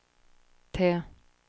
T